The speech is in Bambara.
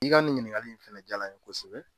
I ka nin ɲininkali in fɛnɛ jaala in ye kosɛbɛ.